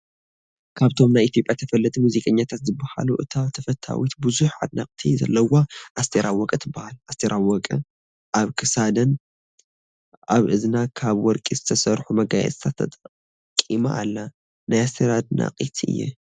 ካብቶም ናይ ኢትየጰያ ተፈለጥቲ ሙዚቀቀኛታት ዝበሃሉ እታ ተፈታዊት ብዙሓት ኣድነቅቲ ዘለውዋ ኣስቴር ኣወቀ ትበሃል። ኣስቴር ኣወቀ ኣብ ክሳደን ኣብ እዝና ካብ ወርቂ ዝተሰርሒ መጋየፅታት ተጠቂማ ኣላ። ናይ ኣስቴር ኣድናቂት እየ።